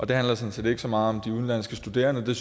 det handlede sådan set ikke så meget om de udenlandske studerende det